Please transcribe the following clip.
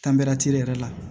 yɛrɛ la